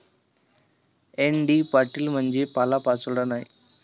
N. D. Patil म्हणजे पालापाचोळा नाही.